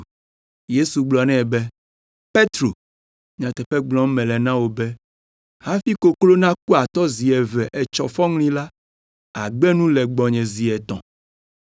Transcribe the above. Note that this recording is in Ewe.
Yesu gblɔ nɛ be, “Petro, nyateƒe gblɔm mele na wò be, hafi koklo naku atɔ zi eve etsɔ fɔŋli la, àgbe nu le gbɔnye zi etɔ̃.”